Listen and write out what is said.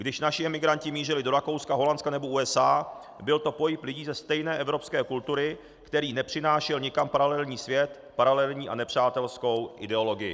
Když naši emigranti mířili do Rakouska, Holandska nebo USA, byl to pohyb lidí ze stejné evropské kultury, který nepřinášel nikam paralelní svět, paralelní a nepřátelskou ideologii.